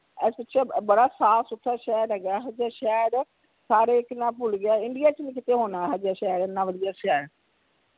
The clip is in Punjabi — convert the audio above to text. ਇਹ ਬੜਾ ਸਾਫ ਸੁਥਰਾ ਸ਼ਹਿਰ ਹੇਗਾ ਏਹੋ ਜਾ ਸ਼ਹਿਰ ਸਾਰੇ ਇਕ ਨਾ ਭੁੱਲ ਗਿਆ india ਚ ਨੇ ਕੀਤਾ ਹੋਣਾ ਆਹੋ ਜਾ ਸ਼ਹਿਰ ਇਨਾ ਵਧੀਆ ਸ਼ਹਿਰ